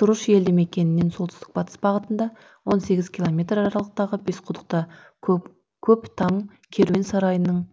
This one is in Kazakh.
тұрыш елді мекенінен солтүстік батыс бағытында он сегіз километр аралықтағы бесқұдықта көптам керуен сарайының